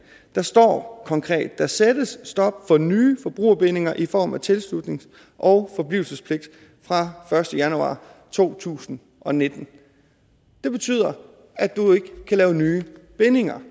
der står konkret der sættes stop for nye forbrugerbindinger i form af tilslutnings og forblivelsespligt fra første januar to tusind og nitten det betyder at du ikke kan lave nye bindinger